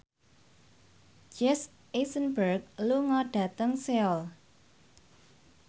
Jesse Eisenberg lunga dhateng Seoul